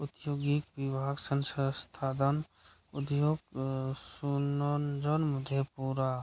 उत्सुगी विवाह संसा सताधन उध्योग अ सुनोंजन मुझे पूरा।